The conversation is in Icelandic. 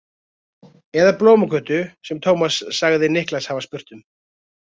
Eða Blómagötu sem Tómas sagði Niklas hafa spurt um.